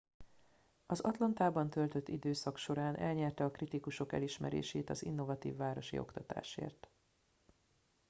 az atlantában töltött időszak során elnyerte a kritikusok elismerését az innovatív városi oktatásért